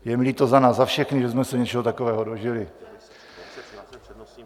Je mi líto za nás za všechny, že jsme se něčeho takového dožili.